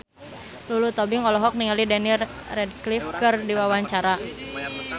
Lulu Tobing olohok ningali Daniel Radcliffe keur diwawancara